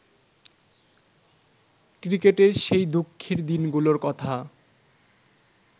ক্রিকেটের সেই দুঃখের দিনগুলোর কথা